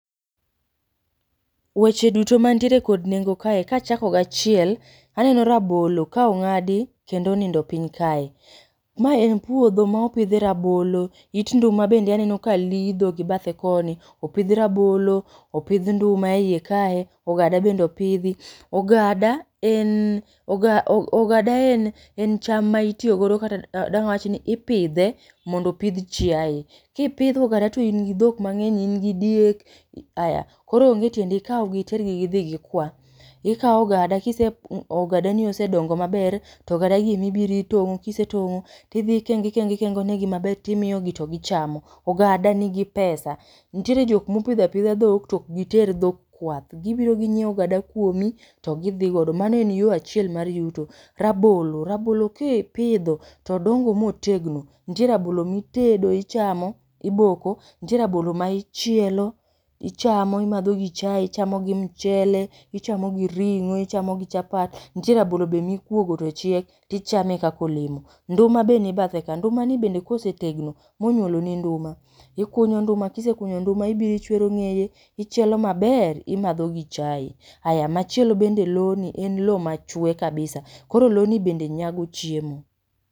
Weche duto mantiere kod nengo kae kachako gi achiel, aneno rabolo ka ong'adi kendo onindo piny kae. Mae en puodho ma opidhe rabolo, it nduma bende aneno ka lidho gi bathe koni, opidh rabolo, opidh nduma e ie kae, ogada bende opidhi, ogada en oga ogada en en cham ma itiyogo kata dang' awachni ipidhe mondo opidh chiaye. Kipidho ogada to in gi dhok mang'eny in gi diek aya koro onge tiende kao gi itergi gidhi gi kwa. Ikao ogada kiseng ko ogadani osedongo maber, to ogada gi ema ibiro itong'o, kisetong'o to idhi ikengo ikengo negi maber timiyo gi to gichamo. Ogada nigi pesa, nitiere jok ma opidho apidha dhok to ok giter dhok kwath, gibiro ginyieo ogada kuomi to gidhi godo. Mano en yo achiel mar yuto. Rabolo, rabolo kipidho to odongo ma otegno, nitie rabolo mitedo ichamo, iboko, nitie rabolo ma ichielo ichamo imadho gi chai, ichamo gi mchele, ichamo gi ring'o, ichamo gi chapat. Nitie rabolo be ma ikuogo to chiek, tichame kaka olemo. Nduma be ni bathe ka, nduma ni bende ka osetegno, monyuolo ni nduma, ikunyo nduma kisekunyo nduma, ibiro ichwero ng'eye, ichielo maber to imadho gi chai, aya machielo bende lo ni en lo machwe kabisa, koro lo ni bende nyago chiemo.